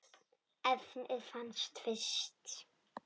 efnið fannst fyrst.